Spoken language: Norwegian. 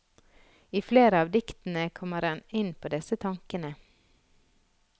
I flere av diktene kommer han inn på disse tankene.